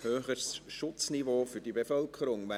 «Höheres Schutzniveau für die Bevölkerung [